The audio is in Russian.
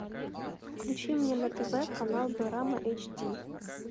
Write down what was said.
включи мне на тв канал дорама эйч ди